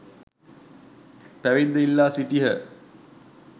පැවිද්ද ඉල්ලා සිටියහ.